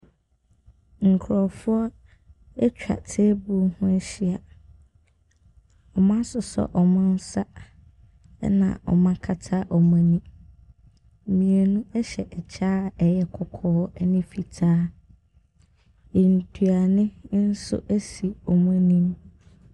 Nkurɔfoɔ atwa table ho ahyia. Wɔasosɔ wɔn nsa, ɛnna wɔakata wɔn ani. Mmienu hyɛ kyɛ a ɛyɛ kɔkɔɔ ne fitaa. Aduane no nso si wɔn anim.